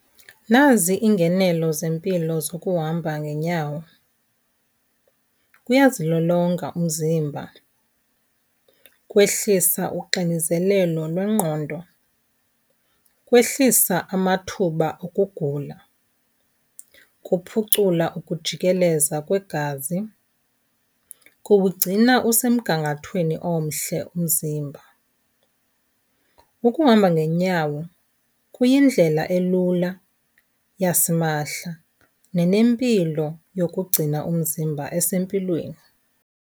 Nazi iingenelo zempilo zokuhamba ngeenyawo. Kuyazilolonga umzimba, kwehlisa uxinizelelo lwengqondo, kwehlisa amathuba okugula, kuphucula ukujikeleza kwegazi, kuwugcina usemgangathweni omhle umzimba. Ukuhamba ngeenyawo kuyindlela elula yasimahla nenempilo yokugcina umzimba esempilweni.